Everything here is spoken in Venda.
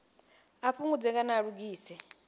a fhungudze kana a lugise